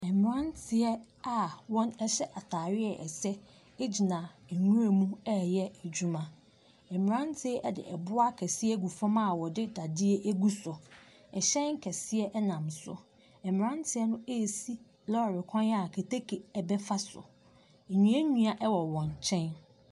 Mmeranteɛ a wɔhyɛ ataare a ɛsɛ gyina nwura mu ɛreyɛ adwuma, mmeranteɛ yi de aboɔ akɛseɛ agu fam a wɔde dadeɛ agu so, hyɛn kɛseɛ nam so, mmeranteɛ yi ɛreyɛ lɔɔre kwan a keteke bɛfa so. Nnuannua wɔ wɔn nkyɛn.